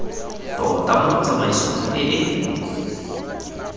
tota mo tsamaisong e e